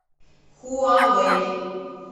хуавэй